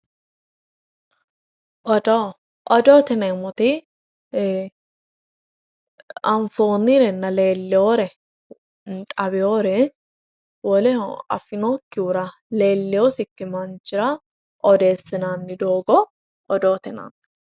Odoo, odoote yineemmoti anfonirenna leelinore xaweyore woleho afinokkihura leelinosikki manchira odeessinanni doogo odoote yinnanni.